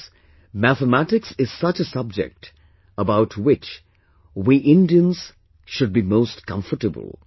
Friends, Mathematics is such a subject about which we Indians should be most comfortable